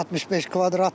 65 kvadratdır.